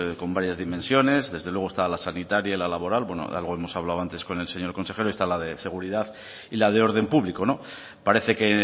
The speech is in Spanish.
con varias dimensiones desde luego está la sanitaria y la laboral bueno algo hemos hablado antes con el señor consejero y está es la de seguridad y la de orden público no parece que